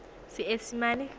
seesimane